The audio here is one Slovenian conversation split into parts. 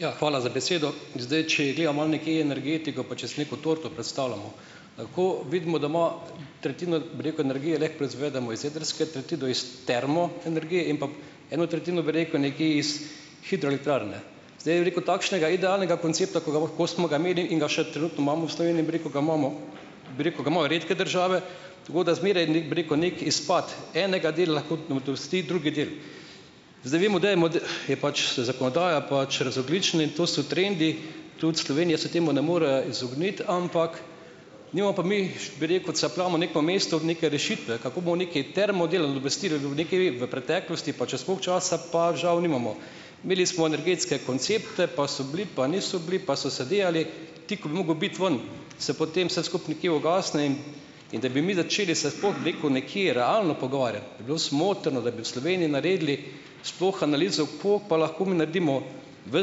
Ja, hvala za besedo. Zdaj, če gledam malo nekje energetiko, pa če si neko torto predstavljamo. Ko vidimo, da ima tretjino, bi rekel, energije lahko proizvedemo iz jedrske, tretjino iz termoenergije in pa eno tretjino, bi rekel, nekje iz hidroelektrarne. Zdaj bi rekel takšnega idealnega koncepta, ko ga, ko smo ga imeli in ga še trenutno imamo v Sloveniji, bi rekel, ga imamo bi rekel, ga imajo redke države, tako da zmeraj bi rekel, neki izpad enega dela lahko dusti drugi del. Zdaj vemo, da je je pač zakonodaja pač razogljični in to so trendi, tudi Slovenija se temu ne more izogniti, ampak nimamo pa mi ... bi rekel, capljamo na nekem mestu, neke rešitve, kako bomo neki termo delali, obvestilo je bilo nekaj v preteklosti, pa čas, koliko časa, pa žal nimamo. Imeli smo energetske koncepte, pa so bili, pa niso bili, pa so se delali. Ti, ko bi mogel biti ven, se potem vse skupaj nekje ugasne in in da bi mi začeli se sploh, bi rekel, nekje realno pogovarjati, bi bilo smotrno, da bi v Sloveniji naredili sploh analizo, kako pa lahko mi naredimo v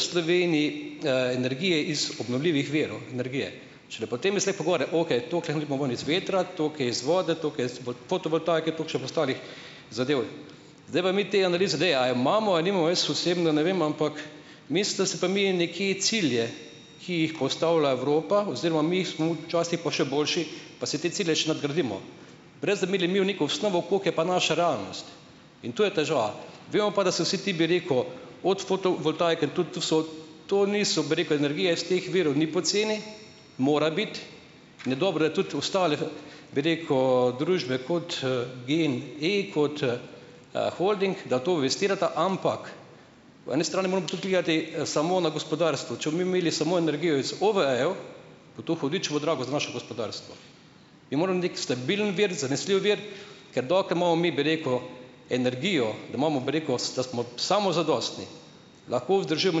Sloveniji, energije iz obnovljivih virov energije. Šele potem jaz lahko govore, okej, toliko dobimo ven iz vetra, toliko je iz vode, toliko je iz fotovoltaike, toliko še pa ostalih zadev. Zdaj pa mi te analize - daj, a jo imamo, a jo nimamo. Jaz osebno ne vem, ampak cilje, ki jih postavlja Evropa, oziroma mi smo včasih pa še boljše, pa si te cilje še nadgradimo, brez da bi imeli mi neko osnovo, koliko je pa naša realnost, in to je težava. Vemo pa, da se vsi ti, bi rekel, od fotovoltaike tudi to so, to niso, bi rekel, energije iz teh virov ni poceni, mora biti in je dobro je tudi ostale, bi rekel družbe kot, Gen-i, kot, holding, da to investirata, ampak po eni strani moramo pa tudi gledati samo na gospodarstvo. Če bomo mi imeli samo energijo iz OVE-jev, bo to hudičevo drago za naše gospodarstvo, stabilen vir, zanesljiv vir, ker dokler imamo mi, bi rekel, energijo, da imamo, bi rekel, da smo samozadostni, lahko vzdržujemo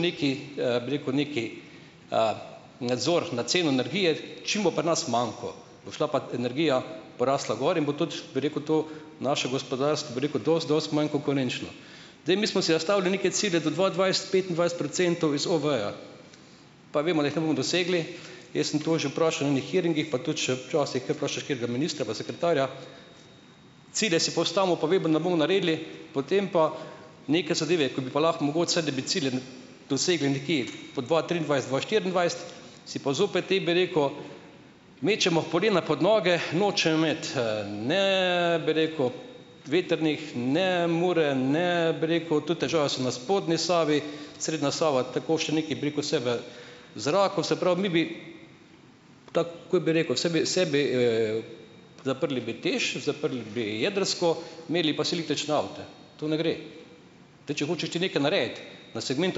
nekaj, bi rekel, neki, nadzor na ceno energije, čim bo pri nas manko, bo šla pa energija, porastla gor in bo tudi, bi rekel, to naše gospodarstvo, bi rekel, dosti, dosti manj konkurenčno. Zdaj mi smo si zastavili neke cilje do dva dvajset petindvajset procentov iz OVE-jev, pa vemo, da jih ne bomo dosegli. Jaz sem to že vprašal na ene hearingih, pa tudi še včasih kaj vprašaš katerega ministra, pa sekretarja. Cilje si postavimo, pa vemo, da ne bomo naredili, potem pa neke zadeve, ko bi pa lahko mogoče saj, da bi cilje dosegli nekje po dva triindvajset-dva štiriindvajset, si pa zopet potem, bi rekel, mečemo polena pod noge. Nočejo imeti, ne, bi rekel, vetrnih, ne Mure, ne, bi rekel, tudi težave so na spodnji Savi, srednja Sava, tako še nekaj, bi rekel, vse v zraku, se pravi, mi bi, zaprli bi TEŠ, zaprli bi jedrsko. To ne gre. Zdaj, če hočeš ti nekaj narediti na segment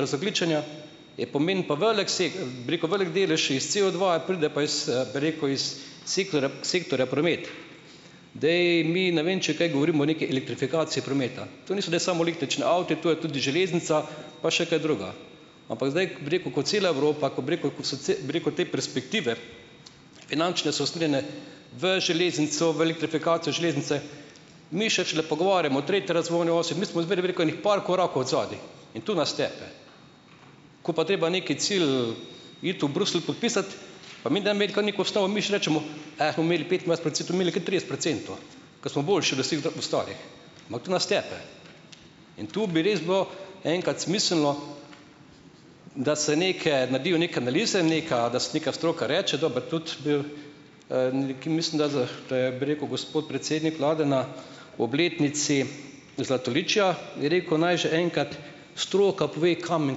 razogljičenja, je pomeni pa velik bi rekel, velik delež iz COdva pride pa iz, bi rekel, iz sektorja promet. Zdaj. Mi, ne vem, če kaj govorimo, o neki elektrifikaciji prometa. To niso zdaj samo električni avti, to je tudi železnica pa še kaj drugega. Ampak zdaj, bi rekel, ko cela Evropa, ko, bi rekel, ko so bi rekel, te perspektive, finančne, so usmerjene v železnico v elektrifikacijo železnice, mi še šele pogovarjamo o tretji razvojni osi, mi smo zmeraj, bi rekel, ene par korakov odzadaj in to nas tepe. Ko pa treba neki cilj iti v Bruselj podpisat, bomo imeli petindvajset procentov bomo imeli kar trideset procentov, ko smo boljši od vseh ostalih. Ampak to nas tepe. In to bi res bilo enkrat smiselno, da se neke naredijo neke analize, nekaj, da se neka stroka reče, dobro tudi, da je, bi rekel, gospod predsednik vlade na obletnici Zlatoličja je rekel, naj že enkrat stroka pove, kam in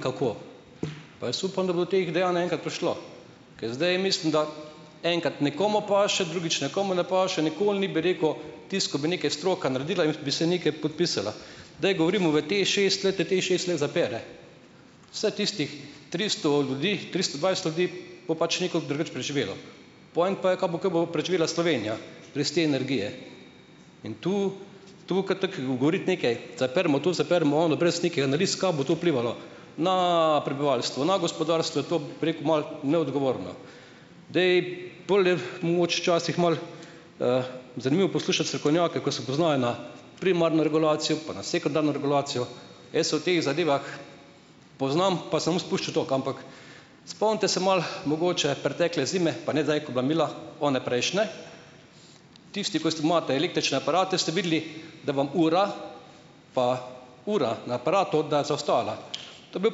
kako. Pa jaz upam, da bo do teh dejanj enkrat prišlo, ker zdaj mislim, da enkrat nekomu paše, drugič nekomu ne paše, nikoli ni, bi rekel, tisto, ko bi nekaj stroka naredila in bi se nekaj podpisala. Daj govorimo v TEšest. Glejte, TEšest lahko zapre vseh tistih tristo ljudi, tristo dvajset ljudi bo pač nekako drugače preživelo. Point pa je, ka bo bo preživela Slovenija brez te energije. In tu zapremo to, zapremo ono, brez nekih analiz, ka bo to vplivalo na prebivalstvo, na gospodarstvo, je to, bi rekel, malo neodgovorno. Zdaj, bolj je, mogoče včasih malo, zanimivo poslušati strokovnjake, ko se poznajo na primarno regulacijo, pa na sekundarno regulacijo. Jaz se o teh zadevah poznam, pa se ne bom spuščal toliko, ampak spomnite se malo mogoče pretekle zime, pa ne zdaj, ko je bila mila, one prejšnje, tisti, ko ste, imate električne aparate, ste videli, da vam ura pa ura na aparatu, da je zaostajala. To je bil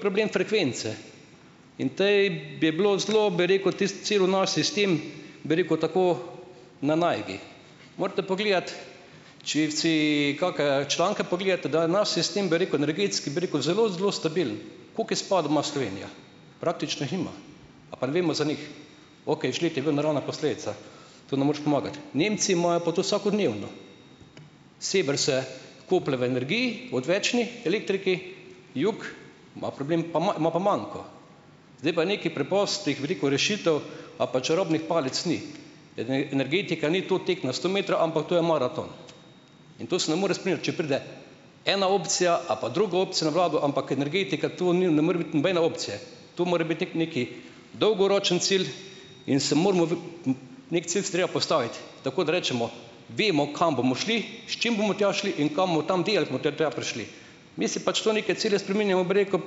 problem frekvence in to je bi bilo zelo, bi rekel, tisti cel naš sistem, bi rekel, tako na najdi. Morate pogledati, če si kake članke pogledate, da naš sistem, bi rekel, energetski, bi rekel, zelo zelo stabilen. Koliko izpadov ima Slovenija? Praktično jih nima. Ali pa ne vemo za nih? Okej, žled je bila naravna posledica, to ne moreš pomagati. Nemci imajo pa to vsakodnevno. Sever se koplje v energiji, odvečni elektriki, jug ima problem, pa ima pa manko. Zdaj pa nekih preprostih, veliko rešitev, a pa čarobnih palic ni. Energetika ni to tek na sto metrov, ampak to je maraton, in to se ne more spreminjati, če pride ena opcija ali pa druga opcija na vlado, ampak energetika, to ni ne more biti nobene opcije, dolgoročen cilj in se moramo neki cilj si je treba postaviti, tako da rečemo, vemo, kam bomo šli, s čim bomo tja šli in kaj bomo tam. Mi si pač tu neke cilje spreminjamo, bi rekel,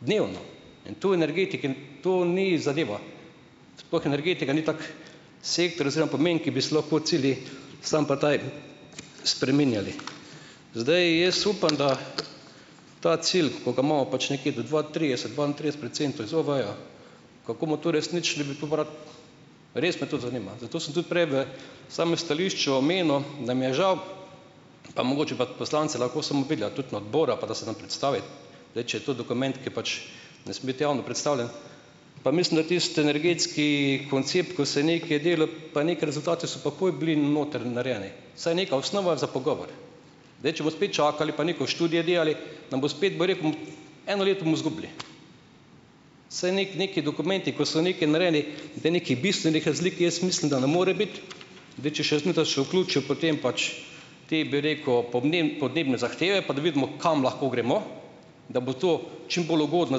dnevno, in to v energetiki to ni zadeva, sploh energetika ni tak sektor oziroma pomen, ki bi se lahko cilji spreminjali. Zdaj jaz upam, da ta cilj, ko ga imamo pač nekje do dva trideset dvaintrideset procentov iz OVE-ja, kako bomo to uresničili, res me to zanima. Zato sem tudi prej v samem stališču omenil, da mi je žal, Zdaj, če je to dokument, ki je pač ne sme biti javno predstavljen, pa mislim, da tisti energetski koncept, ko se nekaj delal, pa neki rezultati so takoj bili noter narejeni, vsaj neka osnova za pogovor. Zdaj, če bo spet čakali pa neke študije delali, nam bo spet, bi rekel, eno leto bomo zgubili. Saj neki dokumenti, ko so nekaj narejeni, da nekaj bistvenih razlik, jaz mislim, da ne more biti. potem, bi rekel, podnebne zahteve pa da vidimo, kam lahko gremo, da bo to čim bolj ugodno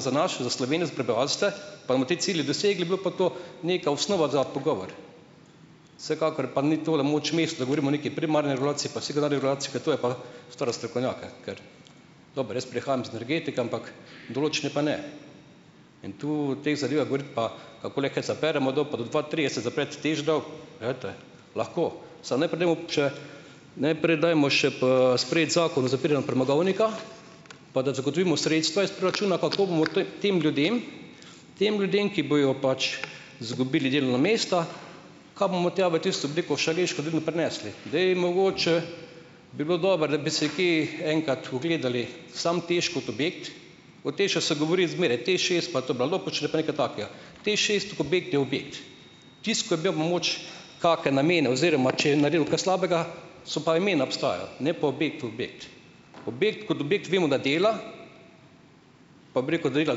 za, pa bomo te cilje dosegli, bi bila pa to neka osnova za pogovor. Vsekakor pa ni tole moč mest, da govorimo o neki primarni regulaciji pa sekundarni regulaciji, ker to je pa stvar za strokovnjake, ker. Dobro, jaz prihajam iz energetike, ampak določene pa ne in tu o teh zadevah govoriti pa lahko, samo najprej dajmo še, najprej dajmo še sprejeti zakon o zapiranju premogovnika, pa da zagotovimo sredstva iz proračuna, kako bomo tem ljudem, tem ljudem, ki bojo pač izgubili delovna mesta, ka bomo tja v tisto, bi rekel, Šaleško dolino prinesli. Zdaj, mogoče bi bilo dobro, da bi se kje enkrat ogledali samo TEŠ kot objekt. Od TEŠ-a se govori zmeraj, TEŠšest, TEŠšest objekt je objekt. Tisto, ko je bil mogoče kake namene, oziroma če je naredil kaj slabega, so pa imena obstajala, ne pa objekt ko objekt. Objekt kot objekt, vemo da dela, pa bi rekel, da dela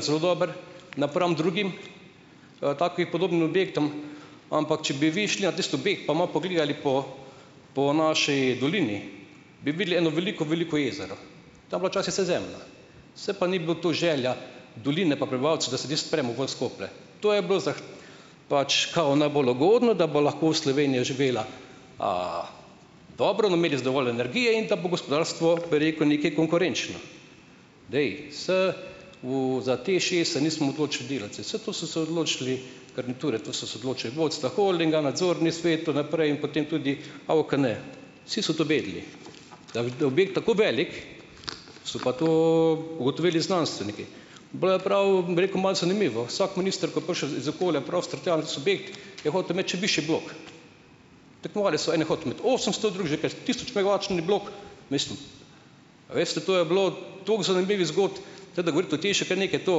zelo dobro, napram drugim, takim podobnim objektom, ampak če bi vi šli na tisti objekt, pa malo pogledali po po naši dolini, bi videli eno veliko, veliko jezero. Tam je bila včasih vse zemlja. Saj pa ni bilo to želja doline, pa prebivalcev, da se tisti premog ven skoplje. To je bilo, pač, "kao" najbolj ugodno, da bo lahko Slovenija živela dobro, da bomo imeli dovolj energije in da bo gospodarstvo, bi rekel, nekaj konkurenčno. za TEŠšest se nismo odločili delati, saj vse to so se odločili garniture, to so se odločili vodstva holdinga, nadzorni svet, to naprej in potem tudi AUKN. Vsi so to vedeli, da je objekt tako velik, so pa to ugotovili znanstveniki. Bolj ali prav, bi rekel malo zanimivo. Vsak minister, ko je prišel iz okolja in prostor tja na tisti objekt, je hotel imeti še višji blok. Tekmovali so - en je hotel imeti osemsto, a veste, to je bilo toliko zanimivih zgodb, tako da govoriti o TEŠ je kar nekaj, to,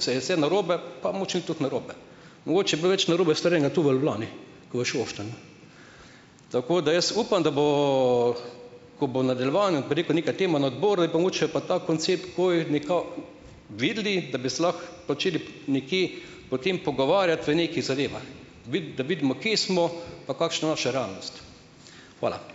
saj je vse narobe, pa mogoče ni tako narobe. Mogoče je bilo več narobe storjenega tu v Ljubljani, ke v Šoštanju. Tako da, jaz upam, da bomo, ko bo v nadaljevanju, bi rekel, neka tema na odboru, je pa mogoče pa ta koncept, ko je neka videli, da bi se lahko začeli nekje o tem pogovarjati, v nekih zadevah, da vidimo, kje smo, pa kakšna naša realnost. Hvala!